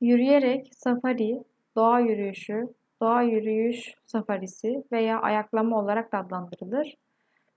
yürüyerek safari doğa yürüyüşü doğa yürüyüş safarisi veya ayaklama olarak da adlandırılır